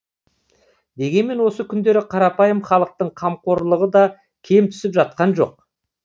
дегенмен осы күндері қарапайым халықтың қамқорлығы да кем түсіп жатқан жоқ